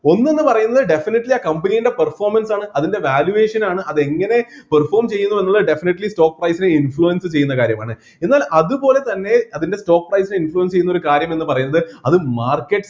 ഒന്ന് എന്ന് പറയുന്നത് definitely ആ company ൻ്റെ performance ആണ് അതിൻ്റെ valuation ആണ് അത് എങ്ങനെ perform ചെയ്യുന്നു എന്നത് definitely stock price നെ influence ചെയ്യുന്ന കാര്യമാണ് എന്നാൽ അതുപോലെതന്നെ അതിൻ്റെ stock priceinfluence ചെയ്യുന്ന കാര്യം എന്നുപറയുന്നത് അത് market